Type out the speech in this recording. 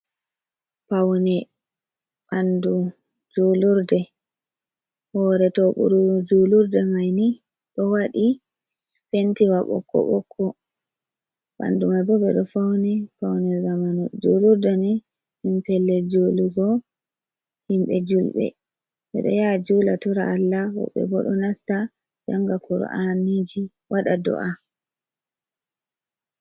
Paune ɓandu juulurde hoore tooɓuru juulurde mai ni ɗo waɗi pentiwa ɓokko ɓokko, ɓandu mai bo ɓe ɗo fauni paune zamanu, juulurde ni ɗum pellel juulugo himɓe julɓe ɓe ɗo yaa juula tora Allah woɓɓe bo ɗo nasta janga kura’aniji waɗa do’a.